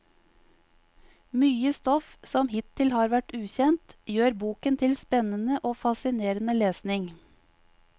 Mye stoff som hittil har vært ukjent, gjør boken til spennende og fascinerende lesning.